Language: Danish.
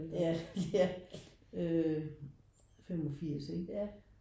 Ja ja øh 85 ikke?